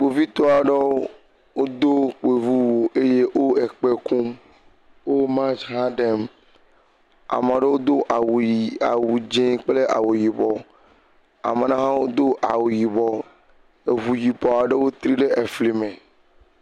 Kpovitɔa aɖewo wodo kpoviwu eye wole kpẽ kum, wo march hã ɖem, ame aɖewo do awu ƒi awu dzɔ̃ kple awu yibɔ, ame aɖewo hã do awu yibɔ eŋu yibɔ aɖewo tri ɖe efli me.